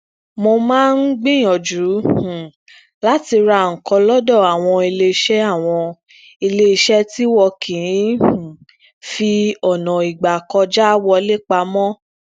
mo maa n gbìyànjú um láti ra nǹkan lódọ àwọn iléeṣẹ àwọn iléeṣẹ tí wọn kì í um fi ọna igbakoọja wọle pamọ